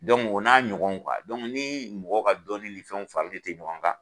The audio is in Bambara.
o n'a ɲɔgɔn ni mɔgɔ ka dɔnni fenw fari ti ɲɔgɔn kan